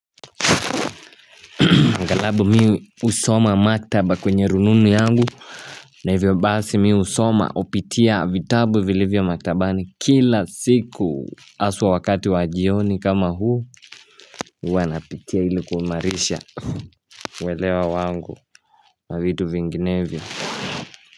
Angalabu mi husoma maktaba kwenye rununu yangu na hivyo basi mi husoma hupitia vitabu vilivyo maktabani kila siku haswa wakati wa jioni kama huu huwa napitia ili kuimarisha uwelewa wangu wa vitu vinginevyo.